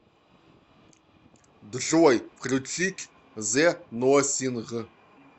джой включить зе носинг